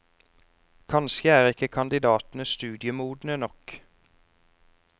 Kanskje er ikke kandidatene studiemodne nok.